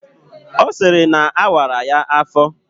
Ọ sịrị na awara ya afọ